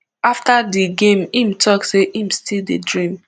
afta di game im tok say im still dey dream